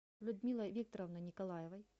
людмилой викторовной николаевой